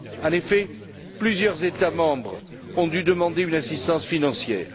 En effet, plusieurs États membres ont dû demander une assistance financière.